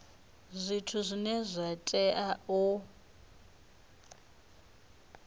zwithu zwine zwa tea u